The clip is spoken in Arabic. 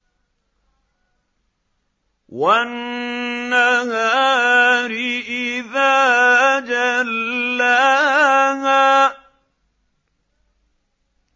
وَالنَّهَارِ إِذَا جَلَّاهَا